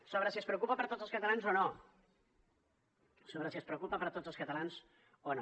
sobre si es preocupa per tots els catalans o no sobre si es preocupa per tots els catalans o no